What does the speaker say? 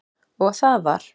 Og það var